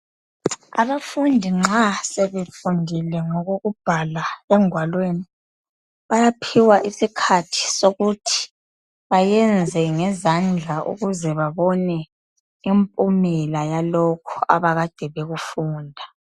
Abafundi nxa sebefundile ngokokubhala engwalweni bayaphiwa isikhathi sokuthi bayenze ngezandla ukuze babone impumela yalokho abakade bekufunda.